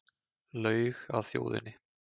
Laug að þjóðinni